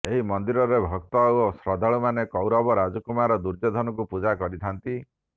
ଏହି ମନ୍ଦିରରେ ଭକ୍ତ ଓ ଶ୍ରଦ୍ଧାଳୁ ମାନେ କୌରବ ରାଜକୁମାର ଦୁର୍ଯ୍ୟୋଧନଙ୍କୁ ପୂଜା କରିଥାନ୍ତି